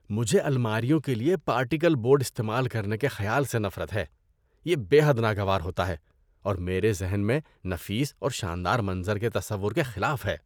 مجھے الماریوں کے لیے پارٹیکل بورڈ استعمال کرنے کے خیال سے نفرت ہے۔ یہ بے حد ناگوار ہوتا ہے اور میرے ذہن میں نفیس اورشاندار منظر کے تصور کے خلاف ہے۔